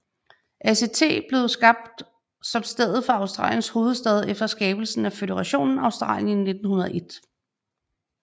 ACT blev skabt som stedet for Australiens hovedstad efter skabelsen af føderationen Australien i 1901